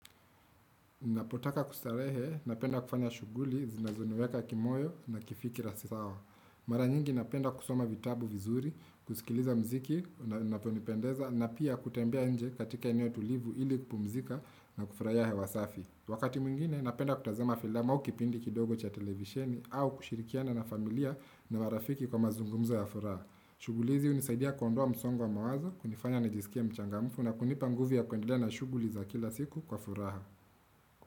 Napotaka kustarehe napenda kufanya shuguli zinazoneweka kimoyo na kifikira sisawa. Mara nyingi napenda kusoma vitabu vizuri, kusikiliza mziki, naponipendeza na pia kutembea nje katika eneo tulivu ili kupumzika na kufraya hewasafi. Wakati mingine napenda kutazama filamu au kipindi kidogo cha televisheni au kushirikiana na familia na marafiki kwa mazungumza ya furaha. Shuguli hizi unisaidia kuondoa msongo wa mawazo, kunifanya na jisikia mchangamfu na kunipanguvia kuendele na shuguli za kila siku kwa furaha.